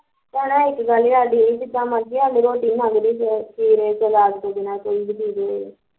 ਪਤਾ ਇੱਕ ਗੱਲ ਸਾਡੀ ਸੀ ਜਿਦਾਂ ਮਰਜ਼ੀ ਸੀ ਅਗਲੇ ਰੋਟੀ ਮੰਗਦੇ ਸੀ ਖੀਰੇ ਸਲਾਦ ਤੋਂ ਬਿਨਾਂ ਕੋਈ ਵੀ ਦੇਦੇ